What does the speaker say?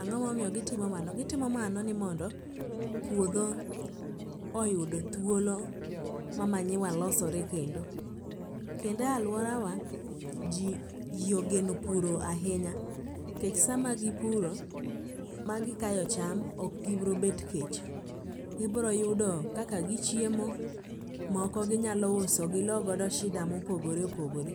Ang'o momiyo gitimo mano?, gitimo mano ni mondo puodho oyud thuolo ma manyiwa losore kendo. Kendo e alworawa, ji ogeno puro ahinya kech sama gipuro ma gikayo cham okgibrobet kech, gibroyudo kaka gichiemo, moko ginyalo uso gilogodo shida mopogore opogore.